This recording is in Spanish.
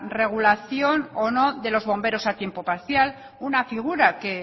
regulación o no de los bomberos a tiempo parcial una figura que